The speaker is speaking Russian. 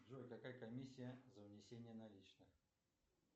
джой какая комиссия за внесение наличных